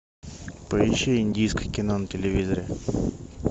поищи индийское кино на телевизоре